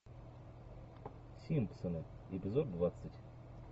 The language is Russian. симпсоны эпизод двадцать